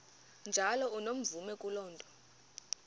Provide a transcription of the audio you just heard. njalo unomvume kuloko